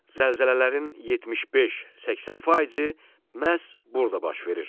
Zəlzələlərin 75-80%-i məhz burada baş verir.